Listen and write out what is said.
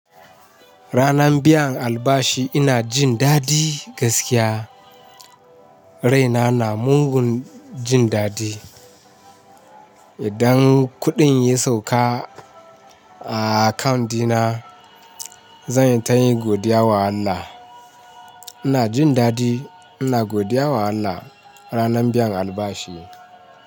Ranan biyan albashi ina jin daɗi gaskiya. Raina na mugun jin daɗi. Idan kuɗin ya sauka a akant dina zan yi tayi godiya wa Allah. Ina jin daɗi, ina godiya wa Allah ranan biyan albashi.